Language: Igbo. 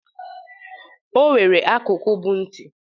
O nwere akụkụ bụ nti.